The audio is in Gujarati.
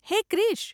હે ક્રીશ !